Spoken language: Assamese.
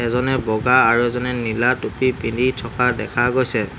এজনে বগা আৰু এজনে নীলা টুপী পিন্ধি থকা দেখা গৈছে।